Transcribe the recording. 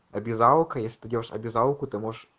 обязаловка если ты делаешь обязаловку ты можешь